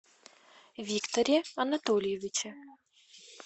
викторе анатольевиче